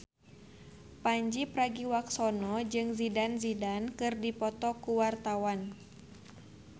Pandji Pragiwaksono jeung Zidane Zidane keur dipoto ku wartawan